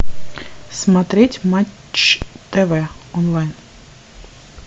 смотреть матч тв онлайн